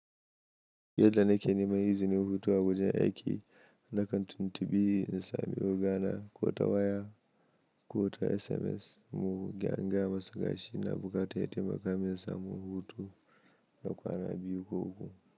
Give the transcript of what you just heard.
Yadda na ke nema izinin hutu a wajen aiki, na kan tintibi, in sami ogana ko ta waya ko ta SMS. Mu ga in gaya masa gashi ina bukata ya taimaka min in samu hutu na kwana biyu ko uku.